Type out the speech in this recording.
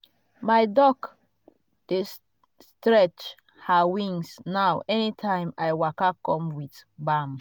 my duck dey stretch her wings now anytime i waka come with balm.